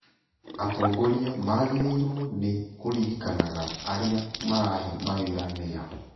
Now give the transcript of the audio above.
Atongoria magĩrĩirũo nĩ kũririkanaga arĩa marahe mawĩra nĩa